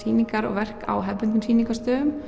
verk á hefðbundnum